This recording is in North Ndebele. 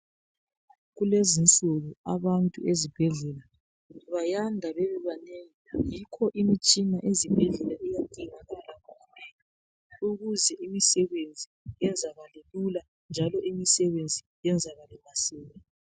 kulezinsuku abantu ezibhedlela bayanda bebebanengi yikho imitshina ezibhedlela iyadingakala ukuze imisebenzi yenzakale lula njalo imisebenzi iyenzakale masinya